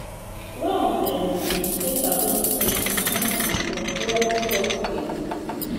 wiles um be di first appointment appointment for trump top team